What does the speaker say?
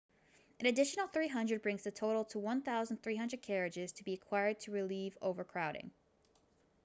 an additional 300 brings the total to 1,300 carriages to be acquired to relieve overcrowding